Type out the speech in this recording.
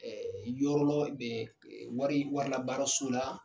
yɔrɔ lɔ bɛ wari warilabaaraso la,